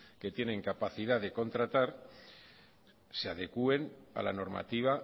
que tienen capacidad de contratar se adecuen a la normativa